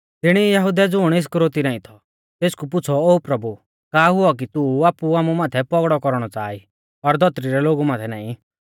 तिणी ई यहुदै ज़ुण इस्करियोती नाईं थौ तेसकु पुछ़ौ ओ प्रभु का हुऔ कि तू आपु आमु माथै पौगड़ौ कौरणौ च़ाहा ई और धौतरी रै लोगु माथै नाईं